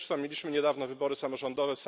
Zresztą mieliśmy niedawno wybory samorządowe.